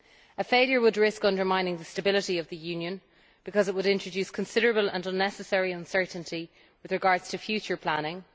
A failure would risk undermining the stability of the Union because it would introduce considerable and unnecessary uncertainty with regard to future planning.